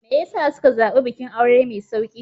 Me ya sa suka zaɓi bikin aure mai sauƙi?